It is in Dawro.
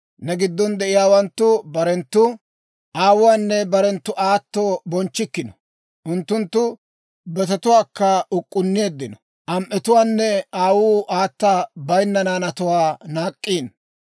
Ne giddon de'iyaawanttu barenttu aawuwaanne barenttu aato bonchchikkino; unttunttu betetuwaakka uk'k'unneeddino; am"etuwaanne aawuu aata bayinna naanatuwaa naak'k'iino.